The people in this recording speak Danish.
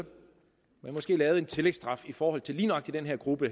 man måske lavede en tillægsstraf i forhold til lige nøjagtig den her gruppe